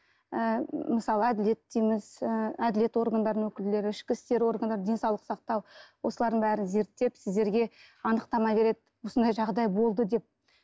ы мысалы әділет дейміз ы әділет органдарының өкілдері ішкі істер органдары денсаулық сақтау осылардың бәрін зерттеп сіздерге анықтама береді осындай жағдай болды деп